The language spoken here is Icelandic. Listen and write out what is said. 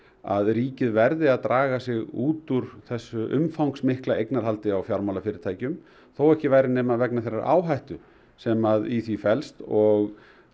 að ríkið verði að draga sig út úr þessu umfangsmikla eignarhaldi á fjármálafyrirtækjum þó ekki væri nema vegna þeirrar áhættu sem í því felst og